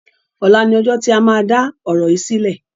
Ọ̀la ni ọjọ́ tí a máa dá ọ̀rọ̀ yìí sílẹ̀